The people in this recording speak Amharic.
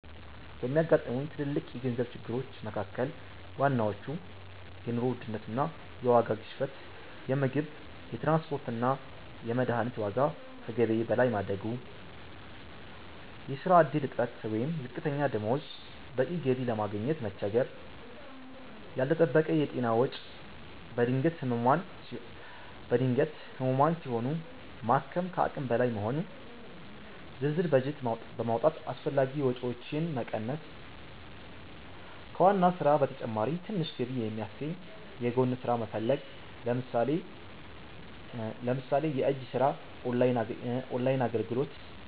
ከሚያጋጥሙኝ ትልልቅ የገንዘብ ችግሮች መካ�ከል ዋናዎቹ፦ የኑሮ ውድነት እና የዋጋ ግሽበት - የምግብ፣ የትራንስፖርት እና የመድኃኒት ዋጋ ከገቢዬ በላይ ማደጉ። የሥራ ዕድል እጥረት ወይም ዝቅተኛ ደሞዝ - በቂ ገቢ ለማግኘት መቸገር። ያልተጠበቀ የጤና ወጪ - በድንገት ህሙማን ሲሆኑ ማከም ከአቅም በላይ መሆኑ። ዝርዝር በጀት በማውጣት አላስፈላጊ ወጪዎችን መቀነስ። ከዋና ሥራ በተጨማሪ ትንሽ ገቢ የሚያስገኝ የጎን ሥራ መፈለግ (ለምሳሌ የእጅ ሥራ፣ ኦንላይን አገልግሎት)።